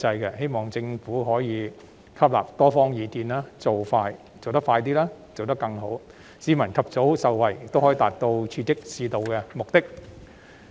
我希望政府可以吸納多方意見，做得快一點，亦要做得更好，既能讓市民及早受惠，亦可達到刺激市道的目的。